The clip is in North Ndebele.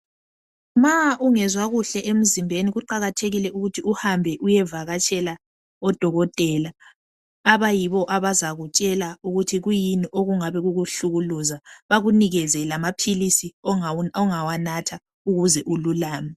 Ma ungezwa kuhle emzimbeni kuqakathekile ukuthi uhambe uyevakatshela odokotela. Abayibo abazakutshela ukuthi kuyini okungabe kukuhlukuluza .Bakunikeze lamaphilisi ongawanatha ukuze ululame.